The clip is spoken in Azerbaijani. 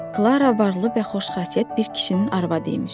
Klara varlı və xoşxassiyyət bir kişinin arvadı imiş.